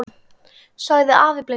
sagði afi blindi.